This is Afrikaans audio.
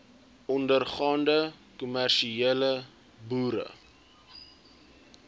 ondergaande kommersiële boere